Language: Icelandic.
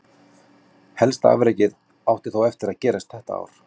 Helsta afrekið átti þó eftir gerast þetta ár.